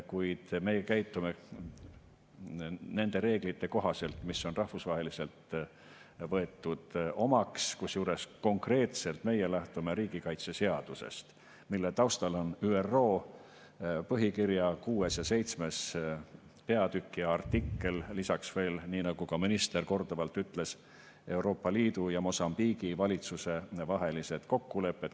Kuid meie käitume nende reeglite kohaselt, mis on rahvusvaheliselt omaks võetud, kusjuures konkreetselt meie lähtume riigikaitseseadusest, mille taustal on ÜRO põhikirja 6. ja 7. peatükk ja artikkel, lisaks veel, nii nagu ka minister korduvalt ütles, Euroopa Liidu ja Mosambiigi valitsuse vahelised kokkulepped.